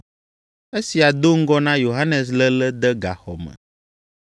(Esia do ŋgɔ na Yohanes léle de gaxɔ me.)